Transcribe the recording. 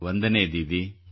ವಂದನೆ ದೀದಿ